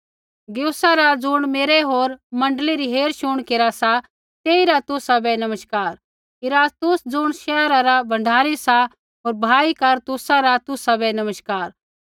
गयुसा रा ज़ुण मेरा होर मण्डली री हेरशुण केरा सा तेइरा तुसाबै नमस्कार इरास्तुस ज़ुण शहरा रा भंडारी सा होर भाई कारतुसा रा तुसाबै नमस्कार